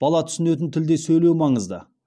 бала түсінетін тілде сөйлеу маңызды